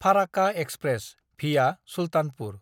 Farakka express (via Sultanpur)